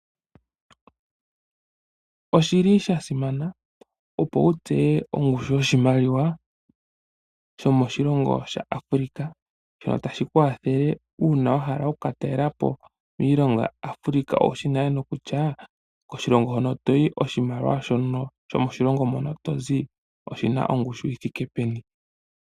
Oshili sha simana opo wu tseye ongushu yo shimaliwa sho moshilongo shaAfrica mono tashi ku wathele uuna wa hala okh ka talelapo iilongo yaAfrica owushi bale no kutya koshilongo hono toyi, oshimaliwa shono shkmo shilongo mono tozi oshina ngushu yi thike peni.